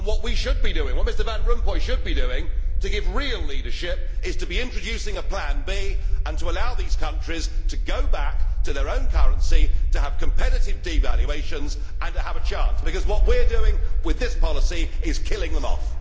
What we should be doing, what Mr Van Rompuy should be doing in order to give real leadership, is to be introducing a plan B and to allow these countries to go back to their own currency, to have competitive devaluations and to have a chance, because what we are doing with this policy is killing them off.